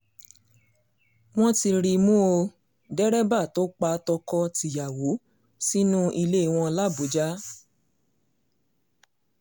wọ́n ti rí i mú ọ dẹ́rẹ́bà tó pa tọkọ-tìyàwó sínú ilé wọn làbújá